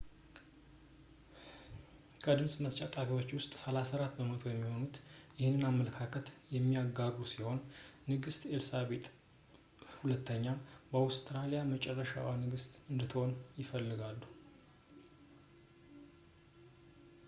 ከድምጽ መስጫ ጣቢያው ውስጥ 34 በመቶ የሚሆኑት ይህንን አመለካከት የሚጋሩ ሲሆን ንግስት ኤልሳቤጥ ii የአውስትራሊያ የመጨረሻዋ ንግስት እንድትሆን ይፈልጋሉ